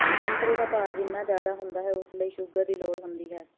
ਸੰਤਰੇ ਦਾ ਭਾਰ ਜਿੰਨਾ ਜ਼ਿਆਦਾ ਹੁੰਦਾ ਹੈ ਉਸ ਲਈ ਸ਼ੂਗਰ ਦੀ ਲੋੜ ਹੁੰਦੀ ਹੈ